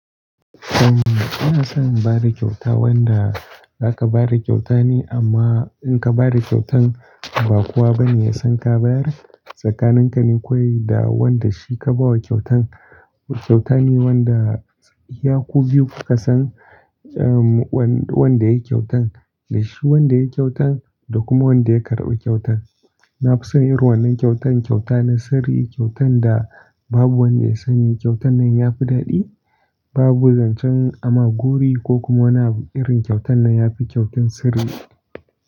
Umm, ina son bada kyauta wanda aka bada kyauta ne amma inka bada kyautan, ba kowa bane yasan ka bayar. Tsakanin kane kawai da wanda shi ka bawa kyautan. Kyauta ne wanda iyaku biyu kukasan, umm, wanda yayi kyautan dashi wanda yayi kyautan da kuma wanda ya karɓi kyautan. Nafi son irin wannan kyautan kyauta na sirri, kyautan da babu wanda ya sani. Kyautannan ya fi daɗi, babu zancen ama gori ko kuma wani irin kyautan nan yafi kyautan sirri.